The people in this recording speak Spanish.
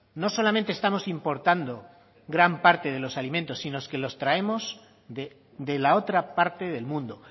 no solamente estamos importando gran parte de los alimentos sino que los traemos de la otra parte del mundo